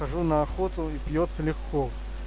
хожу на охоту и пьётся легко